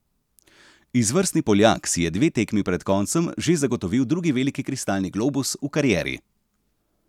Izvrstni Poljak si je dve tekmi pred koncem že zagotovil drugi veliki kristalni globus v karieri.